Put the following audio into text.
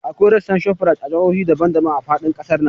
Akwai rassan Shoprite a jihohi daban daban a faɗin ƙasar nan